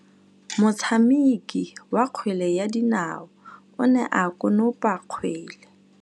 Motshameki wa kgwele ya dinaô o ne a konopa kgwele.